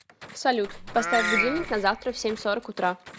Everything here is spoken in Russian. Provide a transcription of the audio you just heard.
салют поставь будильник на завтра в семь сорок утра